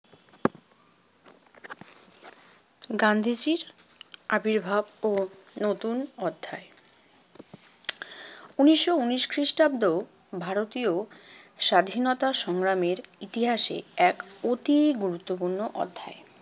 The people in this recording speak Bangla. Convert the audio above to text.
গান্ধীজির আবির্ভাব ও নতুন অধ্যায়। উনিশশো উনিশ খ্রিষ্টাব্দ ভারতীয় স্বাধীনতা সংগ্রামের ইতিহাসে এক অতি গুরুত্বপূর্ণ অধ্যায়।